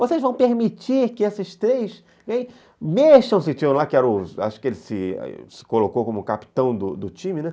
Vocês vão permitir que esses três... Mexam-se, tinham um lá, acho que ele se colocou como capitão do time, né?